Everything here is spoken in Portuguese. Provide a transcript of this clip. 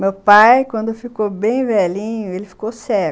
Meu pai, quando ficou bem velhinho, ele ficou cego.